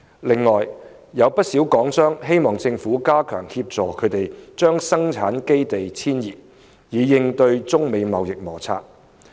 另外，有不少港商希望政府加強協助他們把生產基地遷移，以應對中美貿易摩擦。